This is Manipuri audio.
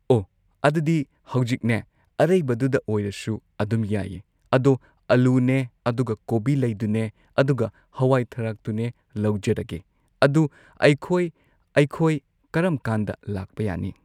ꯑꯣ ꯑꯗꯨꯗꯤ ꯍꯧꯖꯤꯛꯅꯦ ꯑꯔꯩꯕꯗꯨꯗ ꯑꯣꯏꯔꯁꯨ ꯑꯗꯨꯝ ꯌꯥꯏꯌꯦ ꯑꯗꯣ ꯑꯜꯂꯨꯅꯦ ꯑꯗꯒꯤ ꯀꯣꯕꯤ ꯂꯩꯗꯨꯅꯦ ꯑꯗꯨꯒ ꯍꯋꯥꯏ ꯊ꯭ꯔꯥꯛꯇꯨꯅꯦ ꯂꯧꯖꯔꯒꯦ ꯑꯗꯣ ꯑꯩꯈꯣꯏ ꯑꯩꯈꯣꯏ ꯀꯔꯝꯀꯥꯟꯗ ꯂꯥꯛꯄ ꯌꯥꯅꯤ꯫